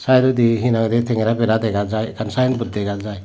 saedodi hina hoide tengera bera dega jai ekkan saen bot dega jai.